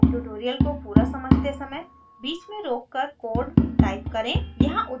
tutorial को पूरा समझते समय बीच में रोककर कोड टाइप करें